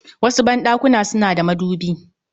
wasu ban ɗakuna suna da madubi